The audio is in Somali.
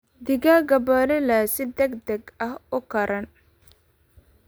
Digaagga broiler si degdeg ah u koraan.